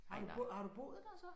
Har du har du boet der så?